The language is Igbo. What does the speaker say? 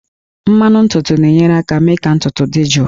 Mmanụ ntutu na-enyere aka mee ka ntutu dị jụụ